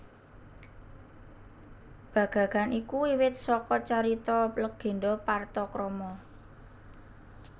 Bagagan iku wiwit saka carita legenda Partakrama